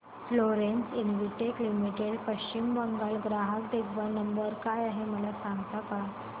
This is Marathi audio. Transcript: Florence Investec Limited Paschim Bangal चा ग्राहक देखभाल नंबर काय आहे मला सांगता का